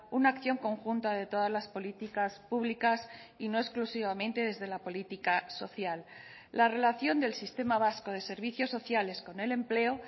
una acción conjunta de todas las políticas públicas y no exclusivamente desde la política social la relación del sistema vasco de servicios sociales con el empleo